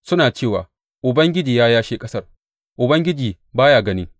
Suna cewa, Ubangiji ya yashe ƙasar; Ubangiji ba ya gani.’